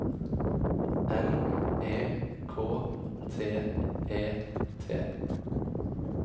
N E K T E T